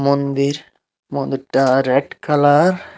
মন্দির মন্দিরটা red colour.